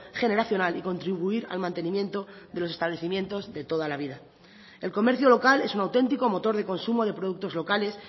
generacional y contribuir al mantenimiento de los establecimientos de toda la vida el comercio local es un auténtico motor de consumo de productos locales